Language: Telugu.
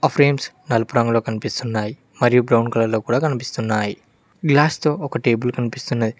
ఫ్రేమ్స్ నలుపు రంగులో కనిపిస్తున్నాయి మరియు బ్రౌన్ కలర్ లో కూడా కనిపిస్తున్నాయి గ్లాస్ తో ఒక టేబుల్ కనిపిస్తున్నది.